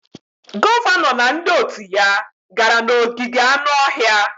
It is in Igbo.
Gọvanọ na ndị òtù ya gara n'ogige anụ ọhịa.